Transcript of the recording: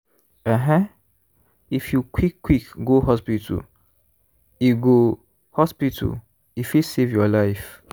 ehen! if you quick quick go hospital e go hospital e fit save your life.